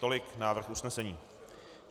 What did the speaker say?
Tolik návrh usnesení.